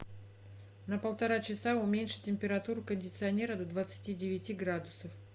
на полтора часа уменьши температуру кондиционера до двадцати девяти градусов